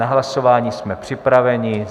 Na hlasování jsme připraveni.